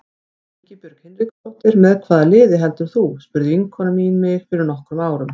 Ingibjörg Hinriksdóttir Með hvaða liði heldur þú? spurði vinkona mín mig fyrir nokkrum árum.